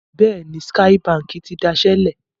Bẹ́ẹ̀ni, Skye Báńkì ti dasẹ́ lẹ̀.